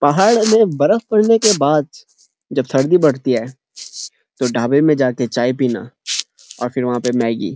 पहाड़ में बर्फपड़ने के बाद जब सर्दी बढ़ती है तो ढाबे में जाके चाय पीना और फ़िर वहाँ पर मैगी --